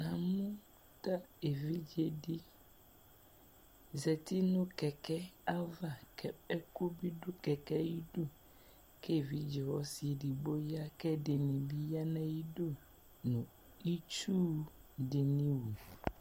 namu evidze dɩ zati nʊ utuvegele ava, kʊ ɔnu tʊ nu ayidu, kʊ evidze ɔsi dɩ bɩ ya, kʊ ɛdɩnɩ bɩ ya nʊ ayidu nʊ itsu dɩnɩ wu